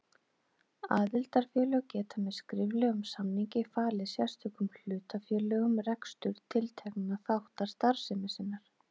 Aðildarfélög geta með skriflegum samningi falið sérstökum hlutafélögum rekstur tiltekinna þátta starfsemi sinnar.